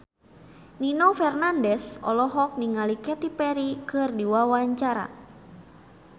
Nino Fernandez olohok ningali Katy Perry keur diwawancara